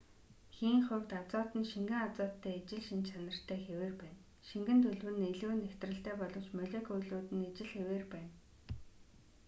хийн хувьд азот нь шингэн азоттой ижил шинж чанартай хэвээр байна шингэн төлөв нь илүү нягтралтай боловч молекулууд нь ижил хэвээр байна